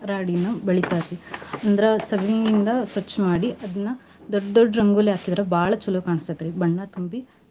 ರಾಡಿನ ಬಳಿತಾರಿ ಅಂದ್ರ ಸಗಣಿ ಇಂದ ಸ್ವಚ್ ಮಾಡಿ ಅದ್ನ ದೊಡ್ಡ್ ದೊಡ್ಡ್ ರಂಗೋಲಿ ಹಾಕಿದ್ರಬಾಳ್ ಚಲೋ ಕಾಣಸ್ತೆತ್ರಿ ಬಣ್ಣ ತುಂಬಿ.